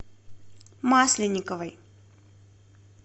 масленниковой